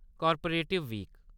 कार्परेटिव-वीक